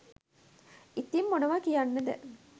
ඉතිං මොනවා කියන්නද